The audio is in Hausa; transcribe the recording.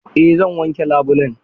Eh zan wanke labulen.